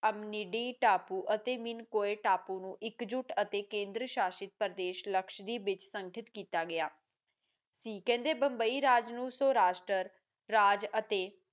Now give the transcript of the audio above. ਅਵਨੀਦੀ ਟੱਪੂ ਅਤੇ ਨੀ ਕੋਏ ਟੱਪੂ ਇਕ ਜੁਟ ਤੇ ਕੇਂਦਰੀ ਸ਼ਾਸਿਤ ਪ੍ਰਦੇਸ਼ ਲੈਕਸ਼੍ਯ ਬੇਸਖਿਤ ਕੀਤਾ ਗਿਆ ਕਹਿੰਦੇ ਮੁੰਬਈ ਰਾਜ ਨੂੰ ਸੋ ਰਾਸ਼ਟਰ ਰਾਜ ਅਤੇ